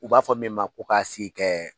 U b'a fɔ min ma ko k'a si kɛ